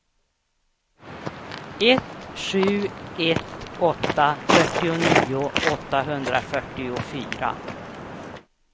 ett sju ett åtta fyrtionio åttahundrafyrtiofyra